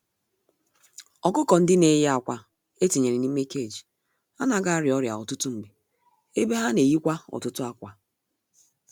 Ọkụkọ-ndị-neyi-ákwà etinyere n'ime cage anaghị arịa ọrịa ọtụtụ mgbe, ebe ha n'eyikwa ọtụtụ ákwà.